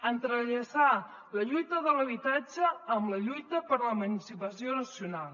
entrellaçar la lluita de l’habitatge amb la lluita per l’emancipació nacional